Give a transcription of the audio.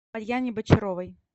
марьяне бочаровой